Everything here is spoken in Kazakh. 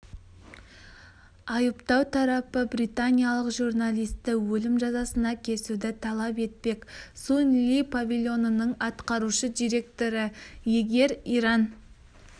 айыптау тарапы британиялық журналисті өлім жазасына кесуді талап етпек сунь ли павильонының атқарушы директоры егер иран